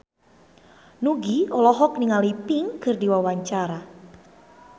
Nugie olohok ningali Pink keur diwawancara